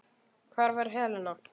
Hvar er Helena?